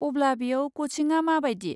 अब्ला बेयाव कचिङा मा बादि?